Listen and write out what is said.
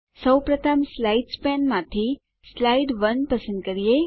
સૌપ્રથમ સ્લાઇડ્સ પેનમાંથી સ્લાઇડ 1 પસંદ કરીએ